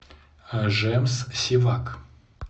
ажемс сивак